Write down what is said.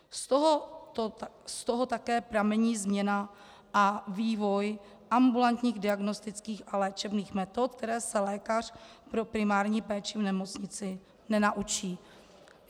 Z toho také pramení změna a vývoj ambulantních diagnostických a léčebných metod, které se lékař pro primární péči v nemocnici nenaučí.